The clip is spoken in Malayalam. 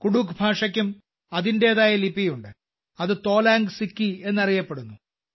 കുഡൂഖ് ഭാഷയ്ക്കും അതിന്റേതായ ലിപിയുണ്ട് അത് തോലാംഗ് സിക്കി എന്നറിയപ്പെടുന്നു